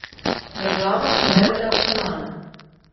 Država se vede racionalno.